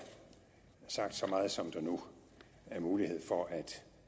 sagt så meget som der nu er mulighed for at